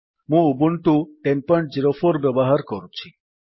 ମୁଁ ଉବୁଣ୍ଟୁ 1004 ବ୍ୟବହାର କରୁଛି